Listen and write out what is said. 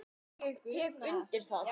Já, ég tek undir það.